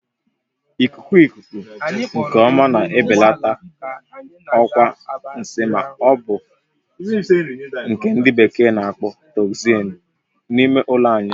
Ikuku ikuku nke ọma na-ebelata ọkwa nsi ma ọ bụ nke ndị bekee n'akpọ "toxins" n'ime ụlọ anyị